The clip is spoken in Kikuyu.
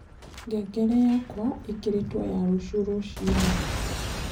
ngengere yakwaĩkĩrĩtwo ya rũcĩũ rũcĩĩnĩ